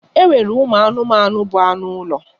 E nwere ụmụ anụmanụ bụ anụ ụlọ.